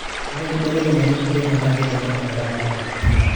ore inkibelekenyat enkijape naa keitanyamal eramatare